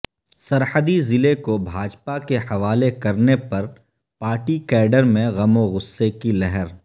سرحدی ضلع کو بھاجپا کے حوالہ کرنے پرپارٹی کیڈرمیں غم وغصہ کی لہر